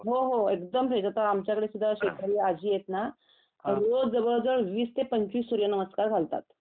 हो एकदम फ्रेश आता आमच्याकडे सुध्दा शेजारी आजी आहेत ना रोज जवळजवळ वीस ते पंचवीस सूर्यनमस्कार घालतात